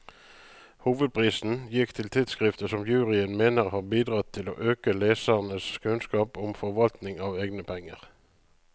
Hovedprisen gikk til tidskriftet, som juryen mener har bidratt til å øke lesernes kunnskap om forvaltning av egne penger.